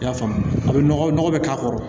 I y'a faamu a bɛ nɔgɔ bɛ k'a kɔrɔ